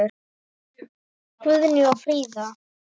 Guðný og Fríða.